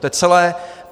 To je celé.